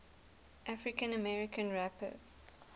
african american rappers